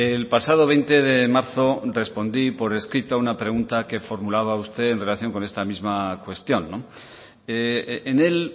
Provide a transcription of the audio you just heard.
el pasado veinte de marzo respondí por escrito a una pregunta que formulaba usted en relación con esta misma cuestión en él